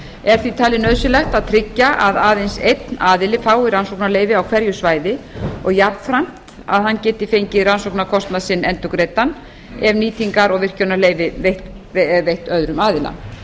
er því talið nauðsynlegt að tryggja að aðeins einn aðili fái rannsóknarleyfi á hverju svæði og jafnframt að hann geti fengið rannsóknarkostnað sinn endurgreiddan ef nýtingar og virkjunarleyfi er veitt öðrum aðila